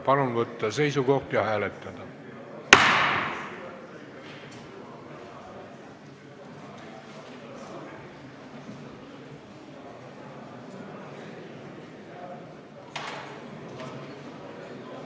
Palun võtta seisukoht ja hääletada!